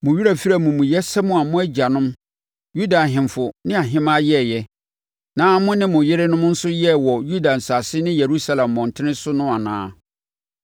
Mo werɛ afiri amumuyɛsɛm a mo agyanom, Yuda ahemfo ne ahemaa yɛeɛ, na mo ne mo yerenom nso yɛɛ wɔ Yuda asase ne Yerusalem mmɔntene so no anaa?